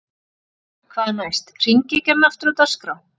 Hvað næst: Hringekjan aftur á dagskrá?